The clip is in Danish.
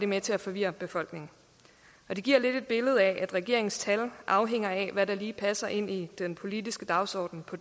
med til at forvirre befolkningen og det giver lidt et billede af at regeringens tal afhænger af hvad der lige passer ind i den politiske dagsorden på